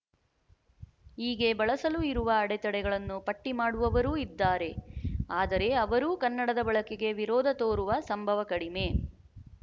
ಹೀಗೆ ಬಳಸಲು ಇರುವ ಅಡೆತಡೆಗಳನ್ನು ಪಟ್ಟಿ ಮಾಡುವವರೂ ಇದ್ದಾರೆ ಆದರೆ ಅವರೂ ಕನ್ನಡದ ಬಳಕೆಗೆ ವಿರೋಧ ತೋರುವ ಸಂಭವ ಕಡಿಮೆ